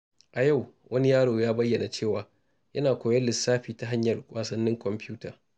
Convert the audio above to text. A yau, wani yaro ya bayyana cewa yana koyon lissafi ta hanyar wasannin kwamfuta.